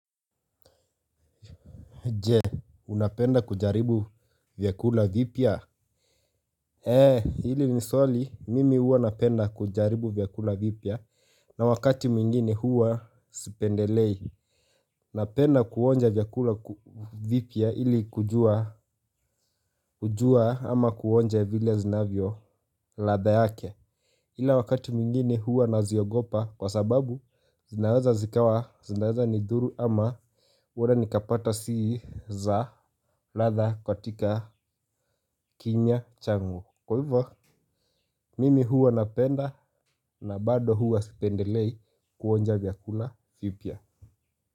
Je, unapenda kujaribu vyakula vipya? Eee, hili ni swali, mimi huwa napenda kujaribu vyakula vipya. Na wakati mwingine huwa sipendelei. Napenda kuonja vyakula vipya hili kujua ama kuonja vile zinavyo ladha yake ila wakati mwingine huwa naziogopa kwa sababu zinaweza zikawa zinaeza nidhuru ama huenda nikapata si za ladha katika kinywa changu. Kwa hivyo mimi huwa napenda. Na bado huwa sipendelei kuonja vyakula vipya.